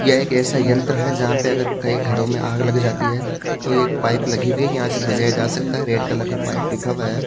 यह एक ऐसा यंत्र है जहां पे अगर कई घरों में आग लग जाती है तो ये एक पाइप लगी हुई है यहां से बुझाया जा सकता है रेड कलर का पाइप दिखा हुआ है।